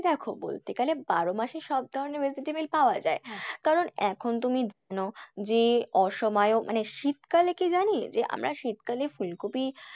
দেখো বলতে গেলে বারো মাসই সব ধরনের vegetable পাওয়া যায়। কারণ এখন তুমি জানো যে অসময়েও মানে শীতকালে কি জানি যে আমরা শীতকালে ফুলকপি,